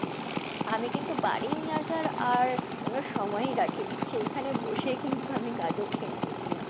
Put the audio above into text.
আমি কিন্তু বাড়ি নিয়ে আসার আর কোনো সময়ই রাখিনি। সেখানে বসেই কিন্তু আমি গাজর খেয়ে নিয়েছিলাম।